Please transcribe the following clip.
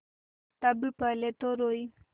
तब पहले तो रोयी